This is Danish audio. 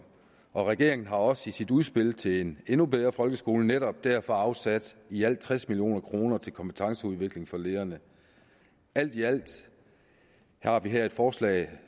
og regeringen har også i sit udspil til en endnu bedre folkeskole netop derfor afsat i alt tres million kroner til kompetenceudvikling for lederne alt i alt har vi her et forslag